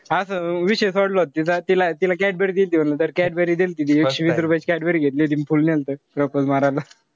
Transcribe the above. असं मंग विषय सोडला होता तिचा. तिला तिला cadbury दिल्ती म्हणलं तर cadbury दिल्ती. तिच्यासाठी वीस रुपयाची cadbury घेतली होती. अन full नंतर propose मारायला.